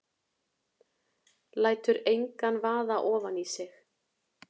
Lætur engan vaða ofan í sig.